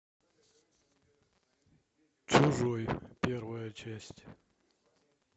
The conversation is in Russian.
чужой первая часть